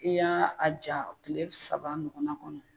I y'a a ja tile saba nɔgɔna kɔnɔ